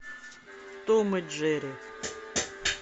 том и джерри